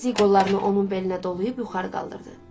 Nazik qollarını onun belinə dolayıb yuxarı qaldırdı.